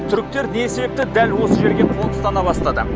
түріктер не себепті дәл осы жерге қоныстана бастады